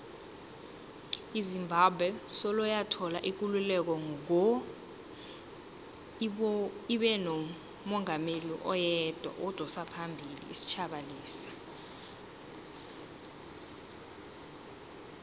izimbabwe soloyathola ikululeko ngo ibenomungameli oyedwa odosaphambili isitjhaba lesa